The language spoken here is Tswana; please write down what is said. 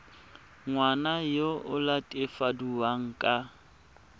ngwana yo o latofadiwang ka